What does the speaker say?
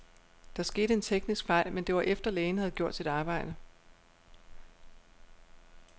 Der skete en teknisk fejl, men det var efter, lægen havde gjort sit arbejde.